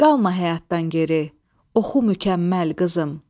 Qalma həyatdan geri, oxu mükəmməl qızım.